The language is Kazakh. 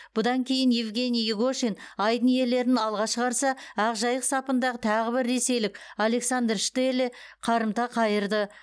бұдан кейін евгений игошин айдын иелерін алға шығарса ақжайық сапындағы тағы бір ресейлік александр штеле қарымта қайырды